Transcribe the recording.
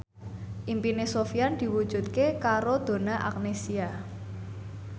impine Sofyan diwujudke karo Donna Agnesia